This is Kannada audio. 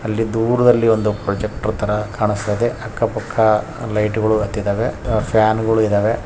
ಇಲ್ಲಿ ದೂರದಲ್ಲಿ ಒಂದು ಪ್ರೊಜೆರ್ಕ್ಟರ್ ತರ ಕಾಣಸ್ತಾ ಇದೆ. ಅಕ್ಕ ಪಕ್ಕ ಲೈಟ್ಗಳು ಹತ್ತಿದವೆ ಫ್ಯಾನ್ಗಳು ಇದಾವೆ.